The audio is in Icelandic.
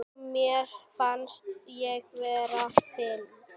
Mér fannst ég vera fyrir.